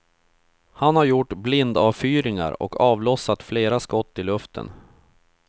Han har gjort blindavfyringar och avlossat flera skott i luften.